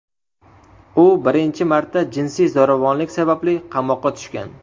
U birinchi marta jinsiy zo‘ravonlik sababli qamoqqa tushgan.